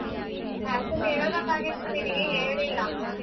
Actually ಹೇಳ್ಬೇಕಾಗಿತ್ತು ನೀನಿಗಿ ಹೇಳಿಲ್ಲ.